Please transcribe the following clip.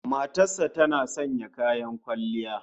Matar sa tana sanya kayan kwalliya?